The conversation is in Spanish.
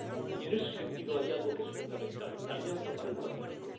Y, en ese sentido, hay algo que es fundamental la Alianza para el Pacífico.